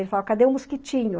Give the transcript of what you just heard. Ele falava, cadê o mosquitinho?